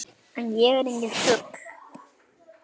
En ég er enginn fugl.